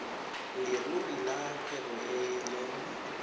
leruri ya kgwebo e leng